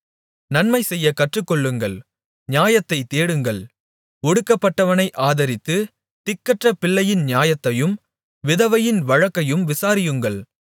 நன்மைசெய்யக் கற்றுக்கொள்ளுங்கள் நியாயத்தைத் தேடுங்கள் ஒடுக்கப்பட்டவனை ஆதரித்து திக்கற்றப்பிள்ளையின் நியாயத்தையும் விதவையின் வழக்கையும் விசாரியுங்கள்